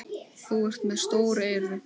Þú ert með stór eyru.